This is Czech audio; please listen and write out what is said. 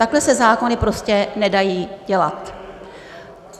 Takhle se zákony prostě nedají dělat.